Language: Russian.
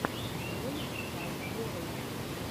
ролик тай ворлд